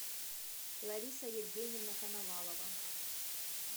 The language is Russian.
лариса евгеньевна коновалова